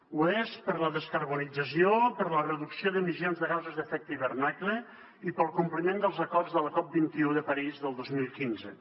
ho és per la descarbonització per la reducció d’emissions de gasos amb efecte d’hivernacle i pel compliment dels acords de la cop21 de parís del dos mil quinze